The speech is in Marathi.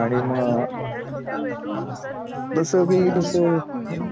आणि मग तसं बी कारण